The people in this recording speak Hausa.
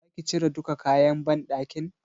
Zaki cire duka kayan banɗakin?